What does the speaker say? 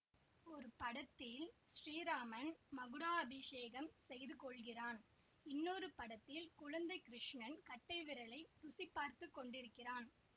ஒரு படத்தில் ஸ்ரீராமன் மகுடாபிஷேகம் செய்து கொள்கிறான் இன்னொரு படத்தில் குழந்தை கிருஷ்ணன் கட்டைவிரலை ருசி பார்த்து கொண்டிருக்கிறான்